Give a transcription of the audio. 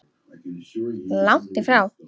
Langt í frá!